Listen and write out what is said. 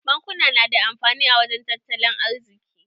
Bankuna na da amfani a wajen tattalin arziki.